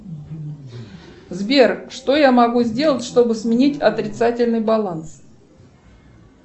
сбер что я могу сделать чтобы сменить отрицательный баланс